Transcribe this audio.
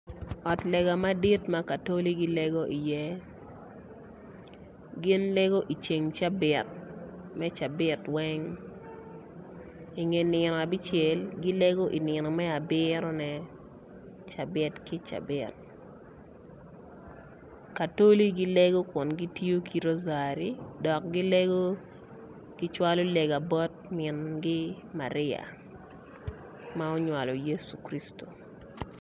Ot lega madit ma katoli gilego i ye gin lego i ceng cabit me cabit weng i nge nino abicel gilego i nino me abiro ne cabt ki cabit, katoli gilego ku gitiyo ki rosary dok gilego kicwalo legagi bot mingi Maria ma onywalo Yesu Kristo.